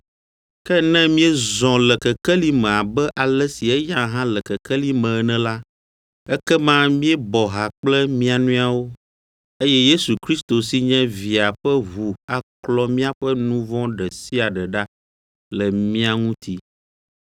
Ke ne míezɔ le kekeli me abe ale si eya hã le kekeli me ene la, ekema míebɔ ha kple mia nɔewo, eye Yesu Kristo si nye Via ƒe ʋu aklɔ míaƒe nu vɔ̃ ɖe sia ɖe ɖa le mía ŋuti.